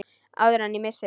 Áður en ég missi þig.